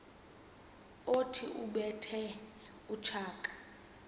othi ubethe utshaka